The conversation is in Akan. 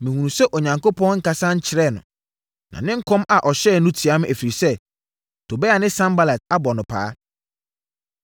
Mehunuu sɛ Onyankopɔn nkasa nkyerɛɛ no, na ne nkɔm a ɔhyɛeɛ no tia me, ɛfiri sɛ, Tobia ne Sanbalat abɔ no paa.